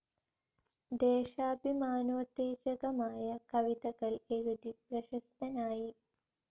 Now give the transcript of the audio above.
ദേശാഭിമാനോത്തേജകമായ കവിതകൾ എഴുതി പ്രശസ്തനായി.